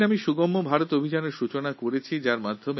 সেই দিন আমরা সুগম্য ভারত অভিযান শুরু করেছিলাম